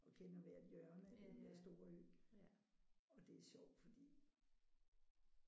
Og kender hvert hjørne af den der store ø og det er sjovt fordi